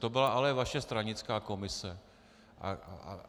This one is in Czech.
To byla ale vaše stranická komise!